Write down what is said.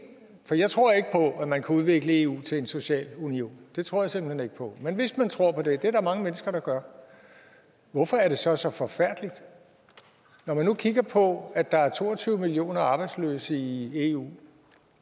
man kan udvikle eu til en social union det tror jeg simpelt hen ikke på men hvis man tror på det det er der mange mennesker der gør hvorfor er det så så forfærdeligt når man nu kigger på at der er to og tyve millioner arbejdsløse i eu